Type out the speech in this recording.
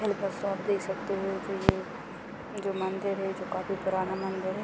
आप देख सकते हो जो ये जो मंदिर है। जो काफी पुराना मंदिर है।